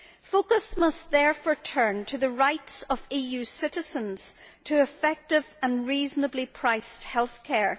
Focus must therefore turn to the rights of EU citizens to effective and reasonably priced health care.